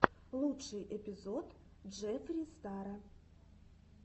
лучший эпизод джеффри стара